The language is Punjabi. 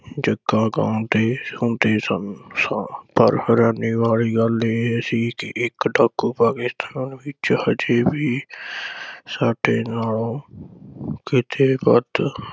ਜੱਗਾ ਗਾਉਂਦੇ ਹੁੰਦੇ ਸਨ ਸਾਂ, ਪਰ ਹੈਰਾਨੀ ਵਾਲੀ ਗੱਲ ਇਹ ਸੀ ਕਿ ਇਕ ਟੱਕ ਪਵੇ ਹਜੇ ਵੀ ਸਾਡੇ ਨਾਲੋ ਕਿਤੇ ਵੱਧ